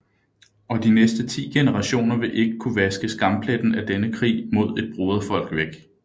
Og de næste ti generationer vil ikke kunne vaske skampletten af denne krig mod et broderfolk væk